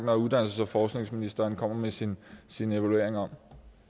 når uddannelses og forskningsministeren kommer med sin sin evaluering